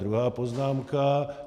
Druhá poznámka.